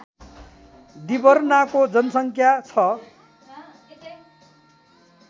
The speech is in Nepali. डिभर्नाको जनसङ्ख्या छ